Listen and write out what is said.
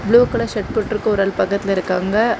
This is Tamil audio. ப்ளூ கலர் ஷர்ட் போட்ருக்க ஒரு ஆள் பக்கத்துல இருக்காங்க.